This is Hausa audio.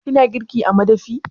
Kina girki a madafi?